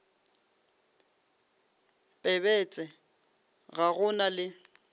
pebetse ga go na le